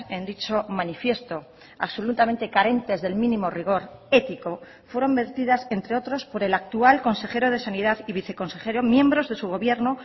en dicho manifiesto absolutamente carentes del mínimo rigor ético fueron vertidas entre otros por el actual consejero de sanidad y viceconsejero miembros de su gobierno